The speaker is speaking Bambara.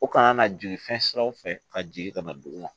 O kana na jigin fɛn siraw fɛ ka jigin ka na dugu la